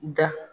Da